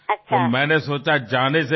అందుకని బయల్దేరే ముందరే